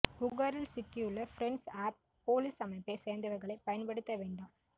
புகாரில் சிக்கியுள்ள friends of police அமைப்பைச் சோ்ந்தவா்களை பயன்படுத்த வேண்டாம்